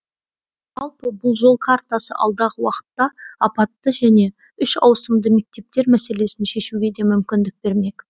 жалпы бұл жол картасы алдағы уақытта апатты және үш ауысымды мектептер мәселесін шешуге де мүмкіндік бермек